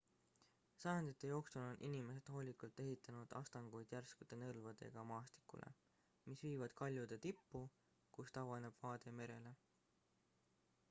sajandite jooksul on inimesed hoolikalt ehitanud astanguid järskude nõlvadega maastikule mis viivad kaljude tippu kust avaneb vaade merele